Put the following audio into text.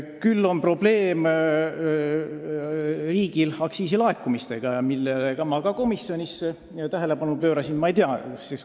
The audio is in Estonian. Küll on meie riigil probleem aktsiisilaekumistega, millele ma ka komisjonis tähelepanu pöörasin.